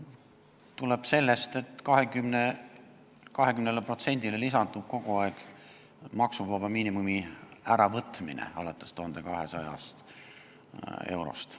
See tuleb sellest, et 20%-le lisandub maksuvaba miinimumi äravõtmine alates 1200 eurost.